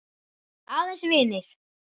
Aðeins vinir.